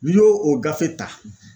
N'i y'o o gafe ta